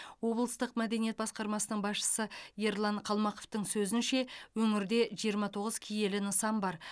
облыстық мәдениет басқармасының басшысы ерлан қалмақовтың сөзінше өңірде жиырма тоғыз киелі нысан бар